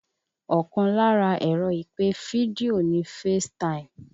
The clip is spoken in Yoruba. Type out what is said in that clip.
Ọkàn lára ẹ̀rọ ìpè fídíò ni FaceTime